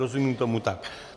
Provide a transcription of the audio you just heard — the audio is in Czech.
Rozumím tomu tak?